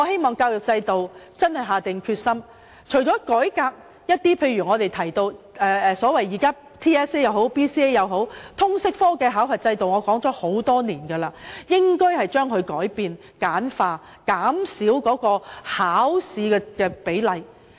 當局真的要下定決心改革教育制度，除了經常提到的 TSA、BCA， 通識科的考核制度也應一如我多年來所說，有所改變、簡化，減少考試的比例。